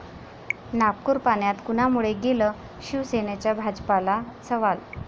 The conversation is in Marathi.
नागपूर पाण्यात कुणामुळे गेलं? शिवसेनेचा भाजपला सवाल